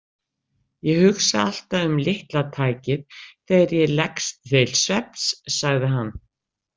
Ég hugsa alltaf um litla tækið þegar ég leggst til svefns, sagði hann.